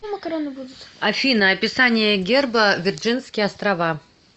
афина описание герба вирджинские острова